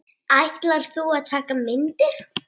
Ætlar þú að taka myndir?